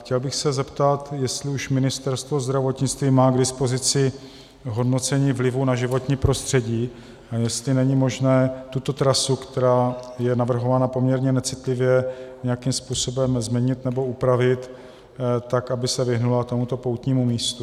Chtěl bych se zeptat, jestli už Ministerstvo zdravotnictví má k dispozici hodnocení vlivu na životní prostředí a jestli není možné tuto trasu, která je navrhovaná poměrně necitlivě, nějakým způsobem změnit nebo upravit tak, aby se vyhnula tomuto poutnímu místu.